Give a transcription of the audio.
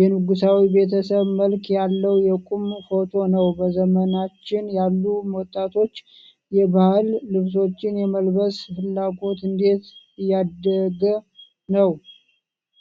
የንጉሣዊ ቤተሰብ መልክ ያለው የቁም ፎቶ ነው። በዘመናችን ያሉ ወጣቶች የባህል ልብሶችን የመልበስ ፍላጎት እንዴት እያደገ ነው?